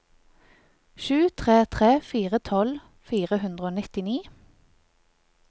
sju tre tre fire tolv fire hundre og nittini